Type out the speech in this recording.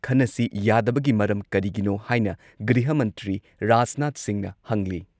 ꯈꯟꯅꯁꯤ ꯌꯥꯗꯕꯒꯤ ꯃꯔꯝ ꯀꯔꯤꯒꯤꯅꯣ ꯍꯥꯏꯅ ꯒ꯭ꯔꯤꯍ ꯃꯟꯇ꯭ꯔꯤ ꯔꯥꯖꯅꯥꯊ ꯁꯤꯡꯍꯅ ꯍꯪꯂꯤ